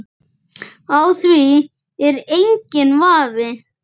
Á því er enginn vafi.